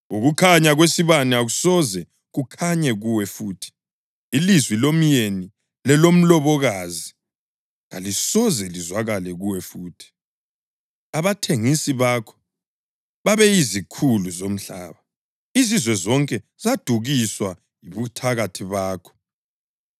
Ukukhanya kwesibane akusoze kukhanye kuwe futhi. Ilizwi lomyeni lelomlobokazi kalisoze lizwakale kuwe futhi. Abathengisi bakho babeyizikhulu zomhlaba. Izizwe zonke zadukiswa yibuthakathi bakho.